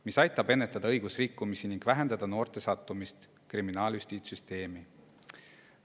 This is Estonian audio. See aitab ennetada õigusrikkumisi ning vähendada noorte sattumist kriminaaljustiitssüsteemi.